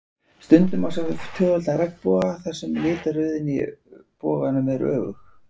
Stundum má sjá tvöfaldan regnboga þar sem litaröðin í efri boganum er öfug.